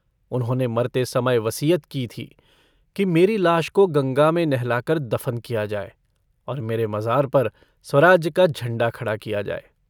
उन्होंने मरते समय वसीयत की थी कि मेरी लाश को गंगा में नहलाकर दफन किया जाए और मेरे मज़ार पर स्वराज्य का झंडा खड़ा किया जाए।